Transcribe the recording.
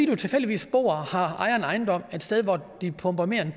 man tilfældigvis bor og ejer en ejendom et sted hvor de pumper mere end